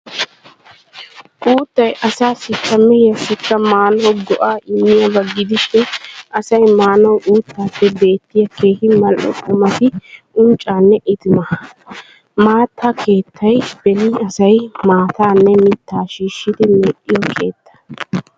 Uuttay assaassikka mehiyaasikka maanawu go'aa immiyaaba gidishin asay maanawu uuttappe beettiyaa keehi Mal"o qumati unccaanne itimaa. Maata keettay beni asay maataanne mittaa shishshidi medhdhiyo keetta.